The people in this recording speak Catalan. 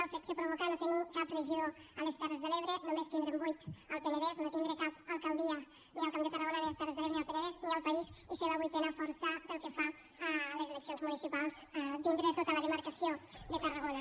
el fet que provoca no tenir cap regidor a les terres de l’ebre només tindre’n vuit al penedès no tindre cap alcaldia ni al camp de tarragona ni a les terres de l’ebre ni al penedès ni al país i ser la vuitena força pel que fa a les eleccions municipals dintre de tota la demarcació de tarragona